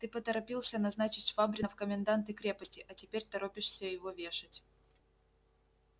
ты поторопился назначить швабрина в коменданты крепости а теперь торопишься его вешать